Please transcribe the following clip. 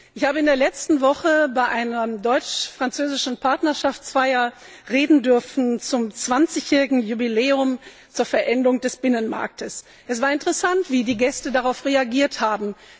Ich durfte in der letzten Woche bei einer deutsch französischen Partnerschaftsfeier zum zwanzigjährigen Jubiläum der Vollendung des Binnenmarktes reden. Es war interessant, wie die Gäste darauf reagiert haben.